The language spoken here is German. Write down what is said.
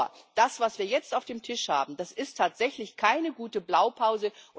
Nur, das, was wir jetzt auf dem Tisch haben, ist tatsächlich keine gute Blaupause.